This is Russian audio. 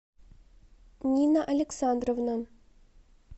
нина александровна